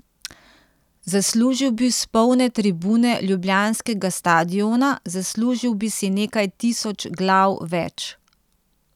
Zaslužil bi si polne tribune ljubljanskega stadiona, zaslužil bi si nekaj tisoč glav več.